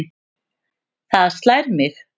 Það slær mig.